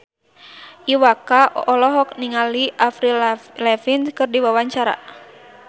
Iwa K olohok ningali Avril Lavigne keur diwawancara